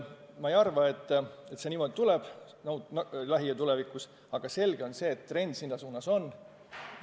Ma ei arva, et see juhtub meie lähitulevikus, aga selge on, et trend selles suunas on.